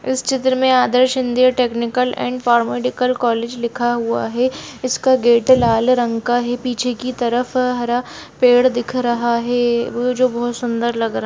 इस चित्र में Adarsh India technical and paramedical college लिखा हुआ है इसका गेट लाल रंग का है पीछे की तरफ हरा पेड़ दिख रहा है जो बहुत सुंदर लग रहा--